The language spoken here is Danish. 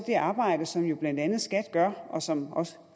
det arbejde som jo blandt andet skat gør og som også